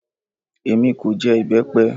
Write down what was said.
Èmi kò jẹ ìbẹ́pẹ